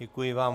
Děkuji vám.